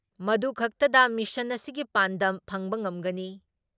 ꯃꯗꯨ ꯈꯛꯇꯗ ꯃꯤꯁꯟ ꯑꯁꯤꯒꯤ ꯄꯥꯟꯗꯝ ꯐꯪꯕ ꯉꯝꯒꯅꯤ ꯫